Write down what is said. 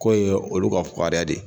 K'o ye olu ka fukari de ye